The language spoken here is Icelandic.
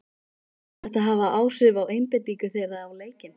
Mun þetta hafa áhrif á einbeitingu þeirra á leikinn?